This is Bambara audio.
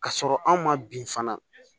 K'a sɔrɔ anw ma bin fana